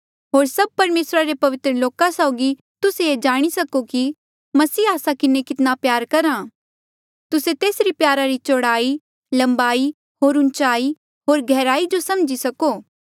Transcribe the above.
होर सभ परमेसरा रे पवित्र लोका साउगी तुस्से ये जाणी सको कि मसीह आस्सा किन्हें कितना प्यार करहा तुस्से तेसरी प्यारा री चौड़ाई लम्बाई होर ऊंचाई होर गैहराई जो समझी सको